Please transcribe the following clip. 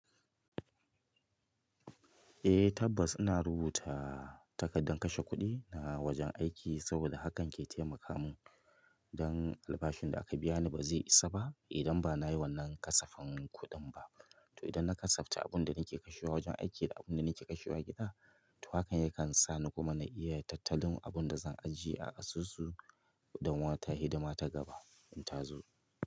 Eh tabbas ina rubuta takardar kashe kuɗi na wajen aiki saboda hakan ke taimaka mun don albashin da aka biya ni ba zai isa ba idan ba na yi wannan kasafin kuɗin ba. To idan na kasafce abun da nake kashewa wajen aiki da abun da nake kashewa gida, to hakan yakan sa ni kuma na iya yin tattalin abin da zan ajiye a asusu don wata hidima ta gaba in ta zo.